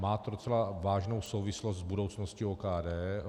Má to docela vážnou souvislost s budoucností OKD.